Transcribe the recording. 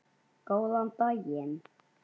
Góðan daginn